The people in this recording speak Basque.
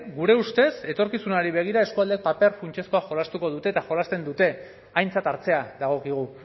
gure ustez etorkizunari begira eskualdek paper funtsezkoa jolastuko dute eta jolasten dute aintzat hartzea dagokigu